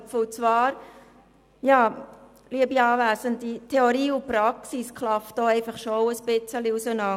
Theorie und Praxis klaffen hier schon etwas auseinander.